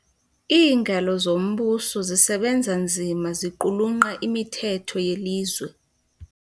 Iingalo zombuso zisebenza nzima ziqulunqa imithetho yelizwe .